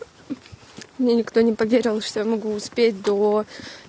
меня никто не поверил что я могу успеть до